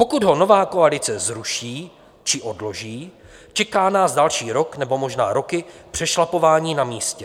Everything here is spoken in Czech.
Pokud ho nová koalice zruší či odloží, čeká nás další rok nebo možná roky přešlapování na místě.